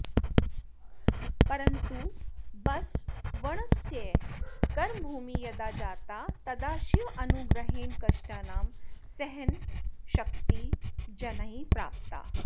परन्तु बसवण्णस्य कर्मभूमिः यदा जाता तदा शिवानुग्रहेण कष्टानां सहनाशक्तिः जनैः प्राप्ता